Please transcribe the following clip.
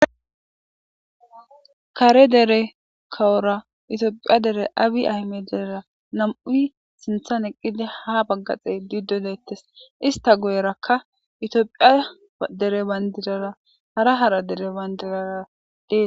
Kare dere kawora itiophiya dere aabi ahme deera nam7ui sinthan eqqida ha baggaxee diddo deettes ista goyerakka itiophiya dere bandirara hara hara dere bandiraradeee